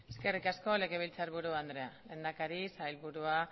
eskerrik asko legebiltzarburu andrea lehendakari sailburuak